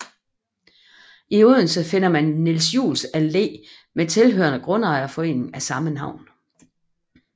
I Odense finder man Niels Juels Allé med tilhørende grundejerforening af samme navn